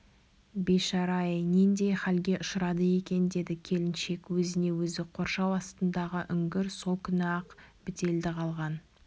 бейшара-ай нендей халге ұшырады екен деді келіншек өзіне өзі қоршау астындағы үңгір сол күні-ақ бітелді қалған